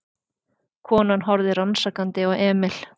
Konan horfði rannsakandi á Emil.